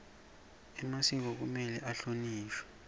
emasiko kumele ahlonishwe